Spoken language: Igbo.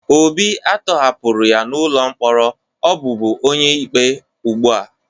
Obi a tọhapụrụ ya n'ụlọ mkpọrọ ọ bụbu onye ikpe ugbu a